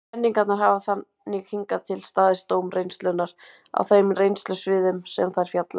Kenningarnar hafa þannig hingað til staðist dóm reynslunnar á þeim reynslusviðum sem þær fjalla um.